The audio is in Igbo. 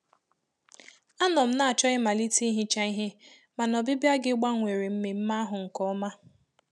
Anọ m na-achọ ịmalite ihicha ihe, mana ọbịbịa gi gbawanyere mmemme ahụ nke ọma